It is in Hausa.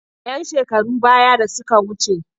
‘Yan shekarun baya da suka wuce.